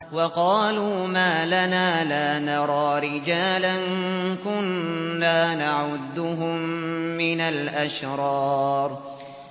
وَقَالُوا مَا لَنَا لَا نَرَىٰ رِجَالًا كُنَّا نَعُدُّهُم مِّنَ الْأَشْرَارِ